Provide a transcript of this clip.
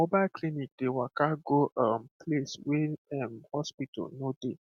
mobile clinic dey waka go um place wey erm hospital no dey